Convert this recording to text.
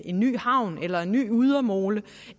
en ny havn eller en ny ydermole